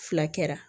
Fila kɛra